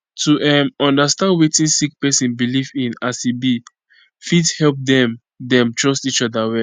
to um understand wetin sick pesin belief in as e be fit help dem dem trust each oda well